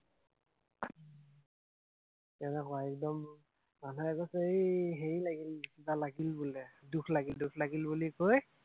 তেনেকুৱা একদম, মানুহে কৈছে এৰ হেৰি লাগিল, কিবা লাগিল বোলে, দোষ লাগিল, দোষ লাগিল বুলি কৈ